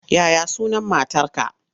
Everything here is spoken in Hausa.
Ya ya sunan matarka?